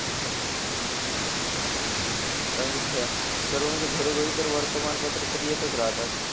आता मी घ सर्व म्हणजे घरोघरी तर वर्तमानपत्र तर येतंच राहतात.